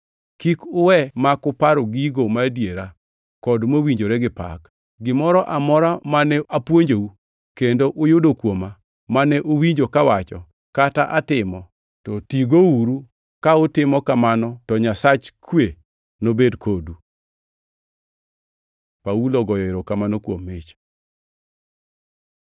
Kik uwe ma ok uparo gigo madiera kod mowinjore gi pak. Gimoro amora mane apuonjou, kendo uyudo kuoma, mane uwinjo kawacho, kata atimo, to tigouru; ka utimo kamano to Nyasach kwe nobed kodu. Paulo ogoyo erokamano kuom mich